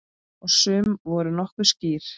Og sum voru nokkuð skýr.